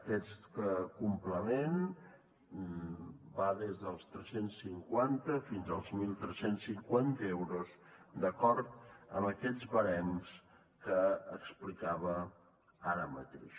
aquest complement va des dels tres cents i cinquanta fins als tretze cinquanta euros d’acord amb aquests barems que explicava ara mateix